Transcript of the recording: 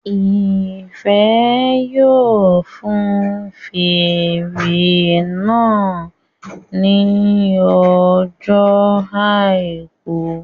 Ìfẹ́ yóò fun fèrè náà ní ọjọ́ àìkú